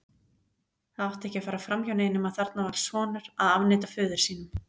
Það átti ekki að fara framhjá neinum að þarna var sonur að afneita föður sínum.